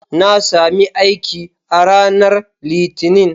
Na sami aiki a ranar Litinin.